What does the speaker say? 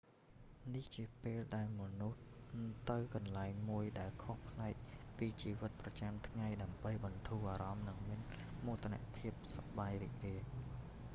នេះជាពេលដែលមនុស្សទៅកន្លែងមួយដែលខុសប្លែកពីជីវិតប្រចាំថ្ងៃដើម្បីបន្ធូរអារម្មណ៍និងមានភាពសប្បាយរីករាយ